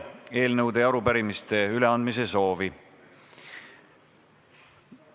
Eelnõude ja arupärimiste üleandmise soovi ei ole.